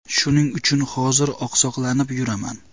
Shuning uchun hozir oqsoqlanib yuraman.